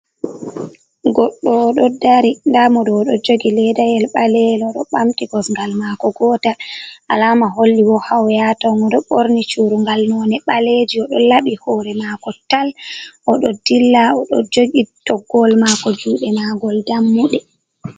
Goɗeo o ɗo dari, nda moɗo o ɗo jogi leedayel ɓaleejum, ɗo ɓamti kosngal maako gootal, alaama holli woodi haa o yahata o ɗo ɓorni cuurungal nonnde ɓaleejum o ɗo laɓi hoore maɗko tal, o ɗo dilla, o ɗo jogi toggowol maako juuɗe maagol dammuɗum.